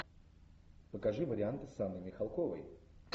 покажи варианты с анной михалковой